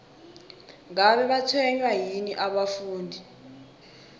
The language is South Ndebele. ngabe batshwenywa yini abafundi